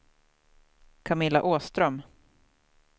Camilla Åström